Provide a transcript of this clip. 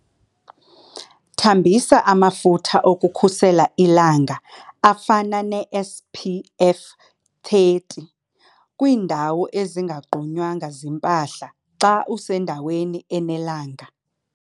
Thambisa amafutha okukhusela ilanga afana neSPF 30 kwiindawo ezingagqunywanga zimpahla xa usendaweni enelanga.